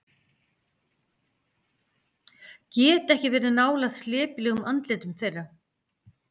Get ekki verið nálægt slepjulegum andlitum þeirra.